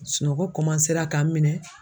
Sunɔgɔ k'an minɛn.